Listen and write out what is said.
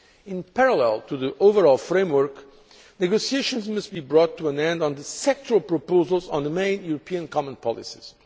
In parallel to the overall framework, negotiations must be brought to an end on the sectoral proposals on the main European common policies.